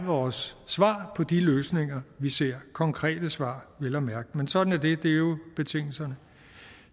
vores svar på de løsninger vi ser konkrete svar vel at mærke men sådan er det er jo betingelserne